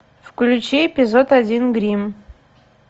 включи эпизод один гримм